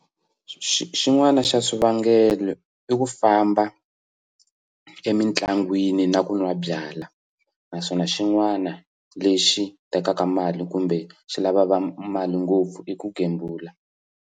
Xin'wana xa swivangelo i ku famba emitlangwini na ku nwa byala naswona xin'wana lexi tekaka mali kumbe xi lava mali ngopfu i ku gembula.